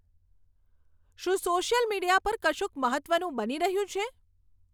શું social media પર કશુંક મહત્વનું બની રહ્યું છે